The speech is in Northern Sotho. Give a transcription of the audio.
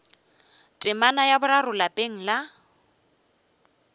temana ya boraro lapeng la